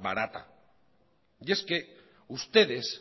barata y es que ustedes